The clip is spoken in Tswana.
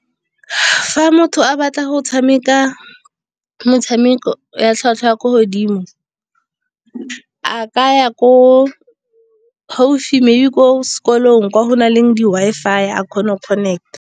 Fa motho a batla go tshameka motshameko ya tlhwatlhwa ya ko godimo. A ka ya ko gaufi maybe ko sekolong, kwa go nang le di-Wi-Fi a kgona go connect-a.